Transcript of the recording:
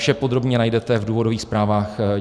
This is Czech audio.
Vše podrobně najdete v důvodových zprávách.